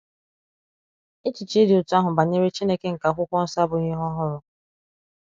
Echiche dị otú ahụ banyere Chineke nke Akwụkwọ nsọ abụghị ihe ọhụrụ.